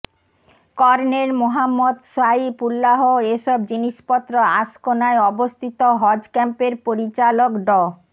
colonel Mohammad Saif Ullah এসব জিনিসপত্র আশকোনায় অবস্থিত হজ ক্যাম্পের পরিচালক ড